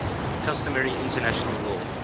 customary international law